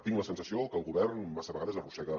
tinc la sensació que el govern massa vegades arrossega